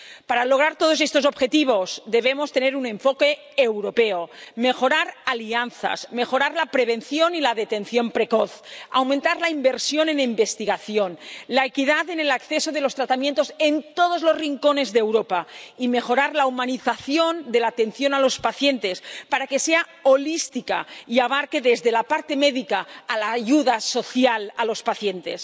Para lograr todos estos objetivos debemos tener un enfoque europeo, mejorar alianzas, mejorar la prevención y la detección precoz, aumentar la inversión en investigación, la equidad en el acceso a los tratamientos en todos los rincones de Europa y mejorar la humanización de la atención a los pacientes para que sea holística y abarque desde la parte médica a la ayuda social a los pacientes.